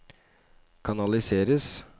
kanaliseres